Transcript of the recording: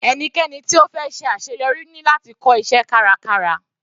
Ẹnikẹ́ni tí ó fẹ́ ṣe àṣeyọrí ní láti kọ́ iṣẹ́ kárakára.